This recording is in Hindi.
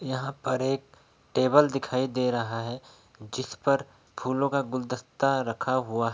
यहाँ पर एक टेबल दिखाई दे रहा है। जिस पर फूलो का गुलदस्ता रखा हुआ--